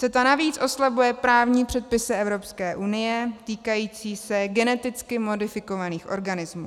CETA navíc oslabuje právní předpisy Evropské unie týkající se geneticky modifikovaných organismů.